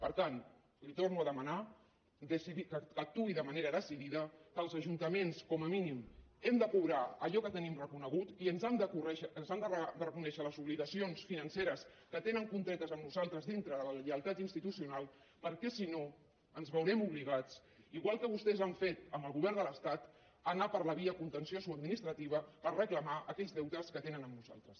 per tant li torno a demanar que actuï de manera decidida que els ajuntaments com a mínim hem de cobrar allò que tenim reconegut i ens han de reconèixer les obligacions financeres que tenen contretes amb nosaltres dintre de la lleialtat institucional perquè si no ens veurem obligats igual que vostès han fet amb el govern de l’estat a anar per la via contenciosa administrativa per reclamar aquells deutes que tenen amb nosaltres